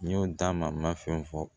N y'o d'a ma n ma fɛn fɔ